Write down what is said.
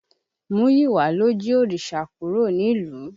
Múyiwá ló jí òrìṣà kúrò nílùú.